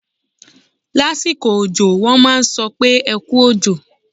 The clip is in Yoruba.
Lásìkò òjọ, wọ́n á sọ pé "ẹ kú òjò".